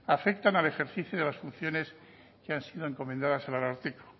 afectan al ejercicio de las funciones que han sido encomendadas al ararteko